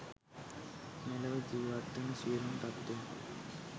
මෙලොව ජීවත්වන සියලුම සත්ත්වයන්